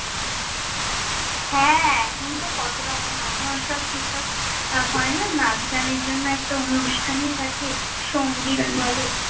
হ্যাঁ, এখন তো কতো রকম, এখন সব সিস্টেম হয় না নাচ গানের জন্য একটা অনুষ্ঠানই থাকে, সঙ্গীত বলে।